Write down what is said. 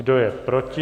Kdo je proti?